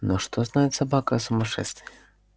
но что знает собака о сумасшествии